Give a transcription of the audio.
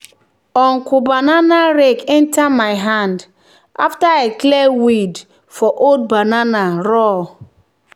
"uncle banana rake enter my hand after i clear weed for old banana row."